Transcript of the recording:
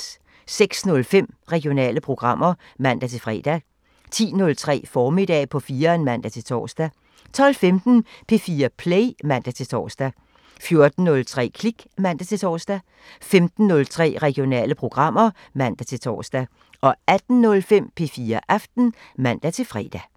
06:05: Regionale programmer (man-fre) 10:03: Formiddag på 4'eren (man-tor) 12:15: P4 Play (man-tor) 14:03: Klik (man-tor) 15:03: Regionale programmer (man-tor) 18:05: P4 Aften (man-fre)